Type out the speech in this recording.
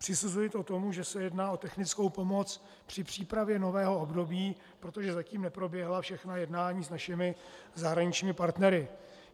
Přisuzuji to tomu, že se jedná o technickou pomoc při přípravě nového období, protože zatím neproběhla všechna jednání s našimi zahraničními partnery.